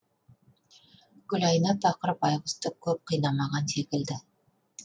гүлайна пақыр байғұсты көп қинамаған секілді